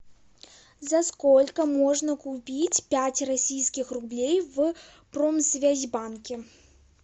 за сколько можно купить пять российских рублей в промсвязьбанке